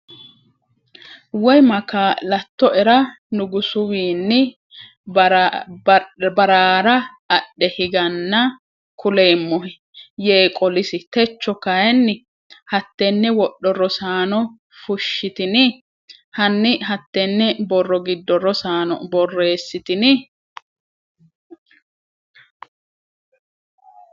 Woy ma kaa’lattoera nugusuwiinni ba’raa’ra adhe higanna kuleemmohe?” yee qolisi. Techo kayinni hattenne wodho Rosaano fushshitini? hanni hattenne borro giddo Rosaano borreessitini?